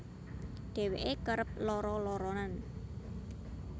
Dheweke kerep lara laranen